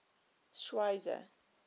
schweizer